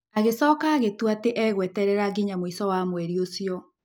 Agĩcoka agĩtua atĩ egweterera nginya mũico wa mweri ũcio.